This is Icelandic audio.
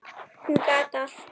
Hún gat allt.